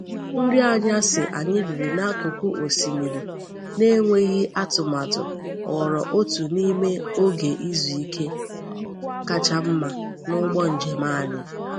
Nri anyasị anyị riri n’akụkụ osimiri n’enweghị atụmatụ ghọrọ otu n’ime oge izu ike kacha mma n’ụgbọ njem anyị.